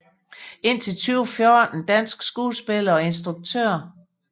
Indtil 2014 dansk skuespiller og instruktør